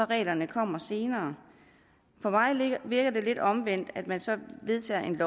reglerne kommer senere for mig virker det lidt omvendt at man vedtager et